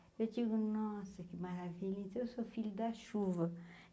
Eu digo, nossa, que maravilha, então eu sou filha da chuva.